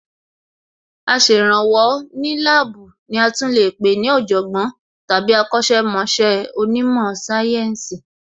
Aṣèrànwọ́ ní láàbù ní a tún lè pé ní Ọ̀jọ̀gbọ́n tàbí akọ̀sẹ̀ mọṣẹ́ onímò sáyẹ́ǹsì